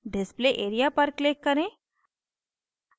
display area पर click करें